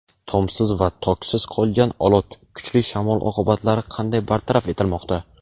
Tomsiz va toksiz qolgan Olot: kuchli shamol oqibatlari qanday bartaraf etilmoqda?.